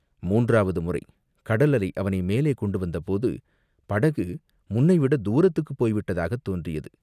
மூன்றாவது முறை கடல் அலை அவனை மேலே கொண்டு வந்தபோது படகு முன்னைவிடத் தூரத்துக்குப் போய்விட்டதாகத் தோன்றியது.